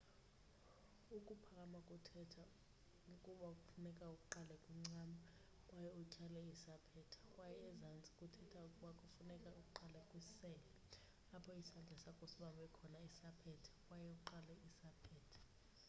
ukuphakama kuthetha ukuba kufuneka uqale kwincam kwaye utyhale isaphetha kwaye ezantsi kuthetha ukuba kufuneka uqale kwisele apho isandla sakho sibambe khona isaphetha kwaye utsale isaphetha